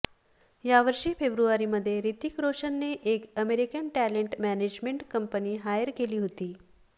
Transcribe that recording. यावर्षी फेब्रुवारीमध्ये हृतिक रोशनने एक American talent management company hire केली होती